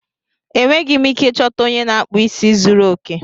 Enweghị m ike ịchọta onye na-akpụ isi zuru oke.